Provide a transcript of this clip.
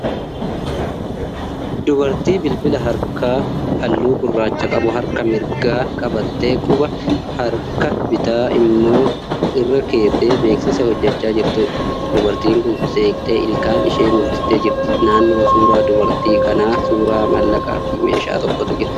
Dubartii bilbila harkaa halluu gurraacha qabu harka mirgaa qabattee quba harka bitaa immoo irra keessee beeksisa hojjechaa jirtuudha. Dubartiin kun seeqxee ilkaan ishee mul'istee jirti. Naannoo suuraa dubartii kanaa suuraa maallaqaa fi meeshaa tokkotu jira.